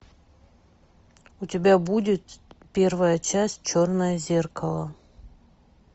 у тебя будет первая часть черное зеркало